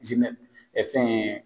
ɛ fɛn